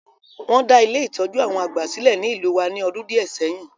Won da Ile-itọju àwon àgbà silẹ̀ ni ìlú wa ni ọdún díẹ̀ sẹyin.